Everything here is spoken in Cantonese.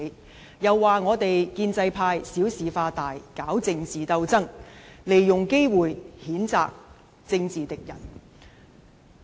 他又指我們建制派小事化大，搞政治鬥爭，利用機會譴責政治敵人。